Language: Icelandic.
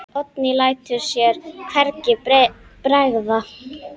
Oddný lætur sér hvergi bregða.